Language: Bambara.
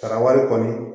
Sara wari kɔni